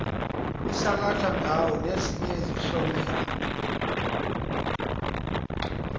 isalathandawo nezinye izihlomelo